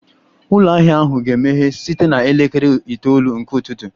Ụlọ ahịa ahụ ga-emeghe site na elekere itoolu nke ụtụtụ